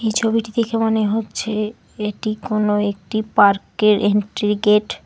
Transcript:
এই ছবিটি দেখে মনে হচ্ছে এটা কোনো একটি পার্কের এন্ট্রি গেট ।